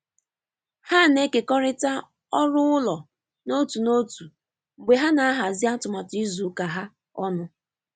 Ha na-ekekọrịta ọrụ ụlọ n’otu n’otu mgbe ha na-ahazi atụmatụ izu ụka ha ọnụ.